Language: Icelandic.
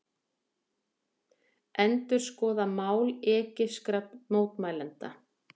Endurskoða mál egypskra mótmælenda